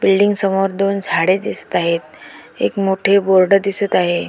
Building समोर दोन झाडे दिसत आहेत. एक मोठे बोर्ड दिसत आहे.